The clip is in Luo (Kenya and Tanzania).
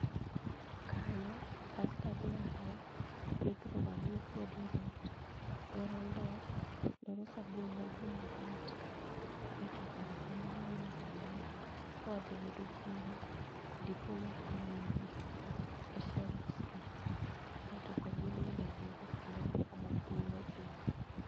Kanyo dasta dwarore mobiro ywe go dier ot, dwaro ndoo dwaro sabun madum mamit, ae to kar kanyo dwaro nyaka gimi ywe go buru madipo mopie e shelves go ae to pod inyalo wye go kwonde moko ma buru odhie.